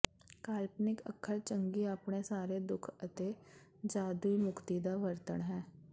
ਕਾਲਪਨਿਕ ਅੱਖਰ ਚੰਗੀ ਆਪਣੇ ਸਾਰੇ ਦੁੱਖ ਅਤੇ ਜਾਦੂਈ ਮੁਕਤੀ ਦਾ ਵਰਣਨ ਹੈ